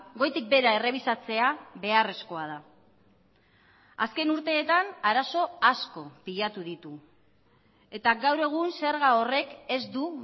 goitik behera errebisatzea beharrezkoa da azken urteetan arazo asko pilatu ditu eta gaur egun zerga horrek ez du